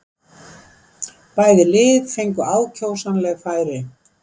Bæði lið fengu ákjósanleg færi.